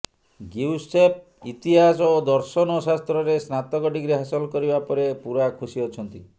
Giuseppe ଇତିହାସ ଓ ଦର୍ଶନ ଶାସ୍ତ୍ରରେ ସ୍ନାତକ ଡ଼ିଗ୍ରୀ ହାସଲ କରିବା ପରେ ପୁରା ଖୁସି ଅଛନ୍ତି